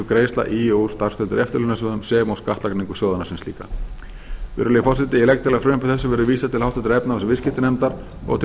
greiðslna í og úr starfstengdum eftirlaunasjóðum sem og skattlagningu sjóðanna sem slíkra virðulegi forseti ég legg til að frumvarpi þessu verði vísað til háttvirtrar efnahags og viðskiptanefndar og til